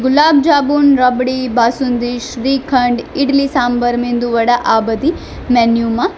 લબજાબુન રબડી બાસુંદી શ્રીખંડ ઈડલી સાંભર મેંદુવડા આ બધી મેન્યુ માં --